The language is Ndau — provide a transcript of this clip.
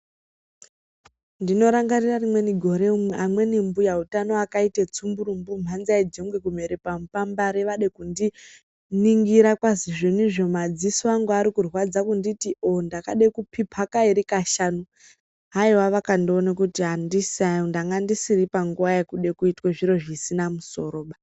Ndinorangarira rimweni gore, amweni mbuya utano akaite dzumburumbu mhanza yejongwe kumere pamupambare vade kundiningira kwazinizvo madziso angu arikurwadza. Kunditi o-o ndakade kuphipa kairi, kashanu, haiwa vakandiona kuti andisai panguva yekuda kuitwe zviro zvisina musoroba.